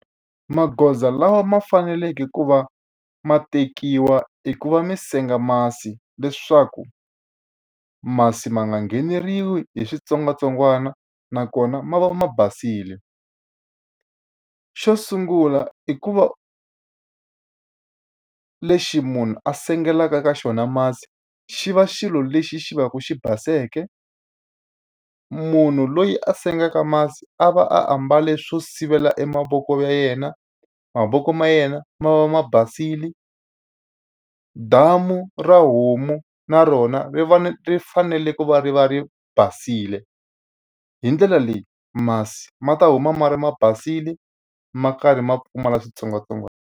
Magoza lawa ma faneleke ku va ma tekiwa eku va mi senga masi leswaku masi ma nga ngheneriwi hi switsongwatsongwana, nakona ma va ma basile. Xo sungula i ku va lexi munhu a sengelaka ka xona masi xi va xilo lexi xi va ku xi baseke, munhu loyi a sengaku masi a va ambale swo sivela e mavoko ya yena, mavoko ma yena ma va ma basile, damu ra homu na rona ri va ri fanele ku va ri va ri basile. Hi ndlela leyi masi ma ta huma ma ri ma basile, ma karhi ma pfumala switsongwatsongwana.